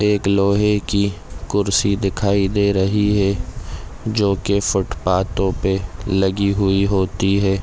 एक लोहे की कुर्सी दिखाई दे रही है जो के फूटपातो पे लगी हुई होती है।